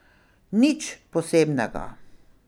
Nič posebnega.